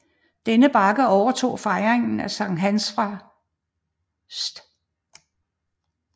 Denne bakke overtog fejringen af Sankt Hans fra St